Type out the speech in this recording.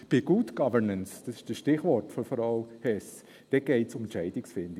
Bei Good Governance – dies ist das Stichwort von Frau Hess – geht es um Entscheidungsfindung.